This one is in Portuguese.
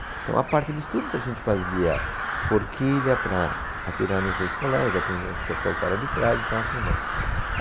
Então a parte de estudos a gente fazia forquilha para atirar nos outros colegas, a tendência é acertar o cara de trás e tal, tudo mais.